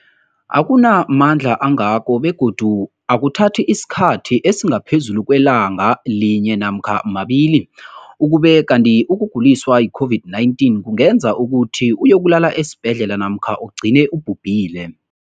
akuna mandla angako begodu akuthathi isikhathi esingaphezulu kwelanga linye namkha mabili, ukube kanti ukuguliswa yi-COVID-19 kungenza ukuthi uyokulala esibhedlela namkha ugcine ubhubhile.